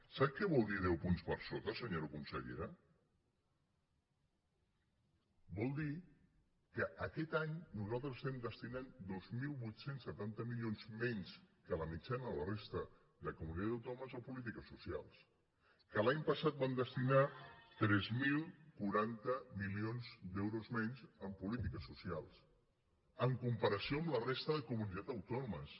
sap què vol dir deu punts per sota senyora consellera vol dir que aquest any nosaltres destinem dos mil vuit cents i setanta milions menys que la mitjana de la resta de comunitats autònomes a polítiques socials que l’any passat vam destinar tres mil quaranta milions d’euros menys en polítiques socials en comparació amb la resta de comunitats autònomes